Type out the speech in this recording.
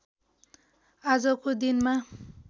आजको दिनमा